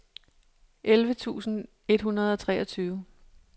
elleve tusind et hundrede og treogtyve